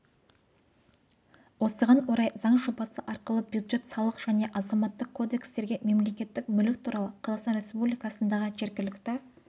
осыған орай заң жобасы арқылы бюджет салық және азаматтық кодекстерге мемлекеттік мүлік туралы қазақстан республикасындағы жергілікті